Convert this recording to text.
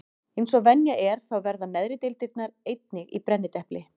Eins og venja er þá verða neðri deildirnar einnig í brennidepli.